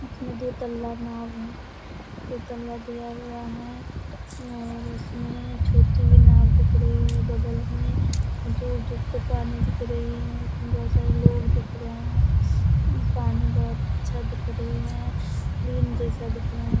इसमें दो तल्ला नाव है दो तल्ला दिया हुआ है और उसमे छोटी भी नाव दिख रही है बगल में और दूर-दूर तक पानी दिख रही है। बोहोत सारे लोग दिख रहे है पानी बोहोत अच्छा दिख रही है क्लीन जैसा दिख रहा है।